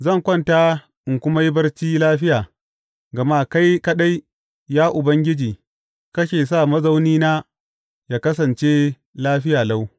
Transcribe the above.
Zan kwanta in kuma yi barci lafiya, gama kai kaɗai, ya Ubangiji, kake sa mazaunina yă kasance lafiya lau.